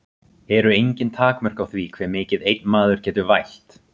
Eru engin takmörk á því hve mikið einn maður getur vælt?